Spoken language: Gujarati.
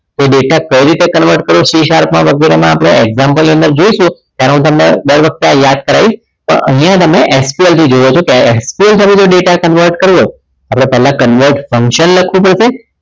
તો data કઈ રીતે convert કરવું c sharp ને વગેરેમાં example ની અંદર આપણે જોઈશું ત્યારે તમને હું દર વખતે યાદ કરાવીશ પણ અહીંયા તમે જુઓ છો ત્યાર SQL સાથે જે data convert કર્યો આપણે પહેલા convert function લખવું પડશે